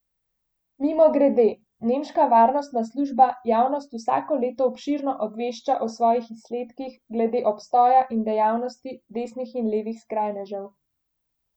Mimogrede, nemška varnostna služba javnost vsako leto obširno obvešča o svojih izsledkih glede obstoja in dejavnosti desnih in levih skrajnežev.